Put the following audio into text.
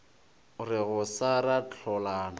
re go sa ra hlolana